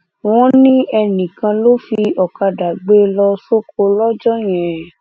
wọn ní enìkan ló fi ọkadà gbé e lọ sóko lọjọ yẹn